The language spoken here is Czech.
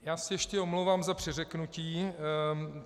Já se ještě omlouvám za přeřeknutí.